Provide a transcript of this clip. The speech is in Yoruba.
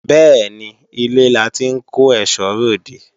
Bẹ́ẹ̀ni, ilé la ti ń kó èsó re òde